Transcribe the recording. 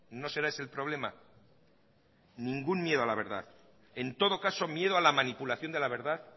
no será ese el problema ningún miedo a la verdad en todo caso miedo a la manipulación de la verdad